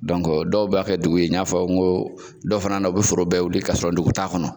Dɔnku dɔw b'a kɛ dugu ye , n'a fɔ n ko dɔw fana na u bɛ foro bɛɛ wuli k'a sɔrɔ ndugu t'a kɔnɔ.